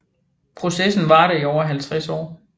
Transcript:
Processen varede i over 50 år